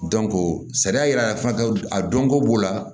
sariya yira fana a dɔnko b'o la